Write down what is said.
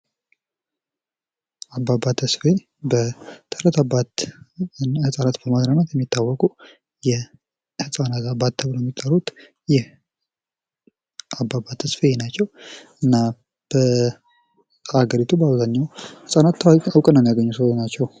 አበባ ተስፋዬ በተረት አባት በተረት በማዝናናት የሚታወቁ የሕፃናት አባት ተብለው የሚታወቁት ይህ አባባ ተስፋዬ ናቸው እና በሀገሪቱ በአብዛኛው ሕፃናት እውቅናን ያገኙ ሰው ናቸው::